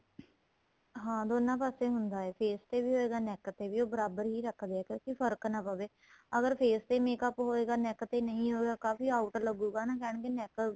ਹਾਂ ਦੋਨਾਂ ਪਾਸੇ ਨੂੰ ਹੁੰਦਾ ਏ face ਤੇ ਹੋਏਗਾ neck ਤੇ ਵੀ ਉਹ ਬਰਾਬਰ ਹੀ ਰੱਖਦੇ ਏ ਕਿਉਂਕਿ ਫ਼ਰਕ ਪਾ ਪਵੇ ਅਗਰ face ਤੇ makeup ਹੋਏਗਾ neck ਤੇ ਨਹੀਂ ਹੋਏਗਾ ਕਾਫ਼ੀ out ਲੱਗੂਗਾ ਕਹਿਣਗੇ neck